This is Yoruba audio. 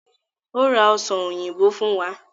Ó ra ọsàn òyìnbó fún wa